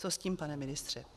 Co s tím, pane ministře?